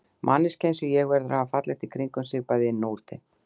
Manneskja einsog ég verður að hafa fallegt í kringum sig, bæði inni og úti.